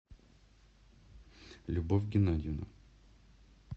любовь геннадиевна